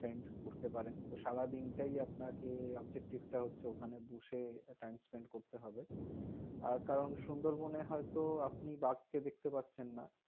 spend করতে পারেন. তো সারাদিন টাই আপনাকে objective টা হচ্ছে ওখানে বসে time spend করতে হবে। আর কারণ সুন্দরবনের হয়তো আপনি বাঘ কে দেখতে পাচ্ছেন না।